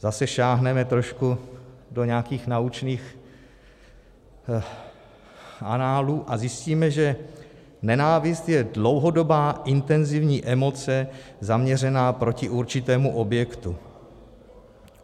Zase sáhneme trošku do nějakých naučných análů a zjistíme, že nenávist je dlouhodobá intenzivní emoce zaměřená proti určitému objektu.